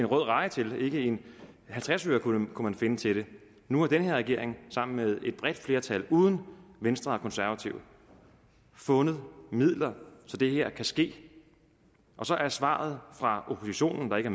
rød reje til ikke en halvtreds øre kunne man finde til det nu har den her regering sammen med et bredt flertal uden venstre og konservative fundet midler så det her kan ske og så er svaret fra oppositionen der ikke